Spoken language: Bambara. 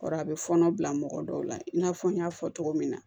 O kɔrɔ a bɛ fɔɔnɔ bila mɔgɔ dɔw la i n'a fɔ n y'a fɔ cogo min na